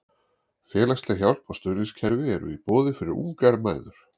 Félagsleg hjálp og stuðningskerfi eru í boði fyrir ungar mæður.